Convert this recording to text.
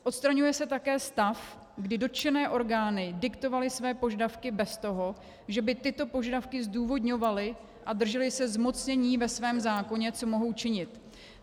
Odstraňuje se také stav, kdy dotčené orgány diktovaly své požadavky bez toho, že by tyto požadavky zdůvodňovaly a držely se zmocnění ve svém zákoně, co mohou činit.